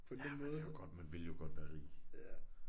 Ja man vil jo godt man ville jo godt være rig